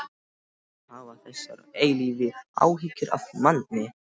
ÞARFTU ALLTAF AÐ HAFA ÞESSAR EILÍFU ÁHYGGJUR AF MANNI.